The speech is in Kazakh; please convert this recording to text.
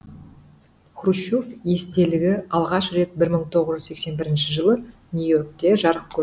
хрущев естелігі алғаш рет бір мың тоғыз жүз сексен бірінші жылы нью йоркте жарық көрді